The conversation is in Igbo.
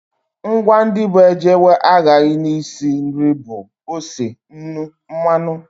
Ngwa ndị bụ ejewe ahaghị n'isi nri bụ ose, nnu, mmanụ